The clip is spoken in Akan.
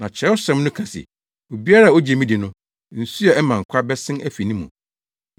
Na Kyerɛwsɛm no ka se, ‘Obiara a ogye me di no, nsu a ɛma nkwa bɛsen afi ne mu.’ ”